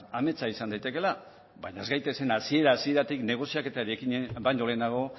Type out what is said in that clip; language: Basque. ametsa izan daitekeela baina ez gaitezen hasiera hasieratik negoziaketari ekin baino lehenago